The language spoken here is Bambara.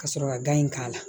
Ka sɔrɔ ka gan in k'a la